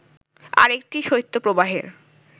আরেকটি শৈত্যপ্রবাহের